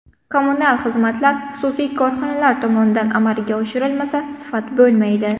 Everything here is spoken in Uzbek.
Kommunal xizmatlar xususiy korxonalar tomonidan amalga oshirilmasa, sifat bo‘lmaydi.